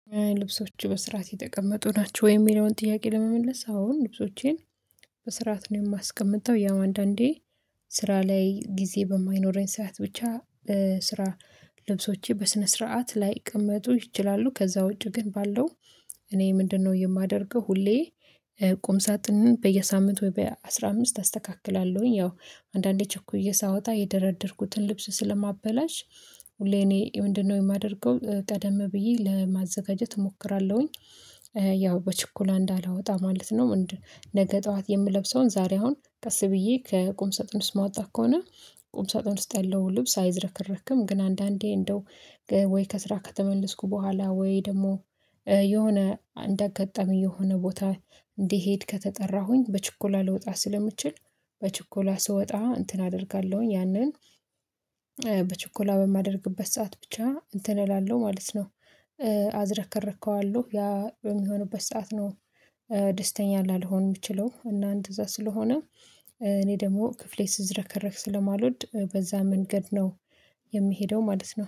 ልብሶች በስርዓት የተቀመጡ ናቸው። ወይም የሚለውን ጥያቄ ለመመለስ አሁን ልብሶቼን በስርዓት ነው የማስቀምጠው። ያው አንዳንዴ ስራ ላይ ጊዜ በማይኖረኝ ሰዓት ብቻ ስራ ልብሶቼ በስነ ስርዓት ላይቀመጡ ይችላሉ። ከዛ ውጪ ግን ባለው እኔ ምንድነው የማደርገው? ሁሌ ቁም ሳጥንን በየሳምንቱ ወይ በአሥራ አምስት አስተካክላለሁኝ። ያው አንዳንዴ ቸኩዬ ሳወጣ የደረደርኩትን ልብስ ስለማበላሽ ሁሌ እኔ ምንድነው የማደርገው? ቀደም ብዬ ለማዘጋጀት እሞክራለሁኝ። ያው በችኮላ እንዳላወጣ ማለት ነው። ምንድነው? ነገ ጠዋት የምለብሰውን ዛሬ አሁን ቀስ ብዬ ከቁም ሰጠን ውስጥ ማጣት ከሆነ ቁም ሰጠን ውስጥ ያለው ልብስ አይዘረከረክም። ግን አንዳንዴ እንደው ወይ ከስራ ከተመለስኩ በኋላ ወይ ደግሞ የሆነ እንዳጋጠመኝ የሆነ ቦታ እንዲሄድ ከተጠራሁኝ በችኮላ ልወጣ ስለምችል በችኮላ ስወጣ እንትን አደርጋለሁኝ። ያንን በማደርግበት ሰዓት ብቻ እንትን እላለሁ ማለት ነው። አዝረከረከዋለሁ ያ የሚሆኑበት ሰዓት ነው። ደስተኛ ላልሆን የምችለው እና እንደዛ ስለሆነ እኔ ደግሞ ክፍሌ ሲዝረከረክ ስለማልወድ በዛ መንገድ ነው። የምሄደው ማለት ነው